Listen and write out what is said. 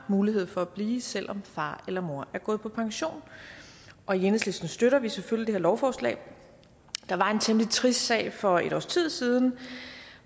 mulighed for at blive selv om far eller mor er gået på pension og i enhedslisten støtter vi selvfølgelig det her lovforslag der var en temmelig trist sag for et års tid siden